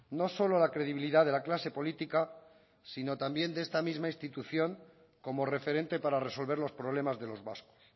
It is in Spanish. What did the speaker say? no solo la credibilidad de la clase política sino también de esta misma institución como referente para resolver los problemas de los vascos